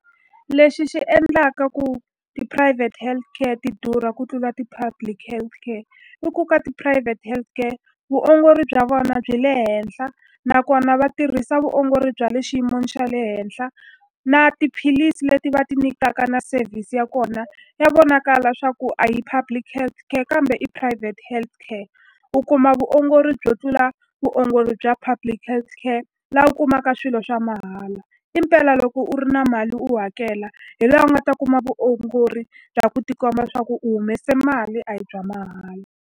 Lexi xi endlaka ku tiphurayivhete healthcare ti durha ku tlula ti-public healthcare, i ku ka ti-private healthcare vuongori bya vona byi le henhla nakona va tirhisa vuongori bya le xiyin'weni xa le henhla. Na tiphilisi leti va ti nyikaka na service ya kona ya vonakala leswaku a hi public healthcare kambe i private healthcare. U kuma vuongori byo tlula vuongori bya public healthcare laha u kumaka swilo swa mahala. Impela loko u ri na mali u hakela hi laha u nga ta kuma vuongori bya ku tikomba leswaku u humese mali, a hi bya mahala.